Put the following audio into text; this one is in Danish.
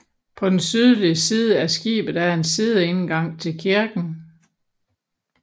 På den sydlige side af skibet er en sideindgang til kirken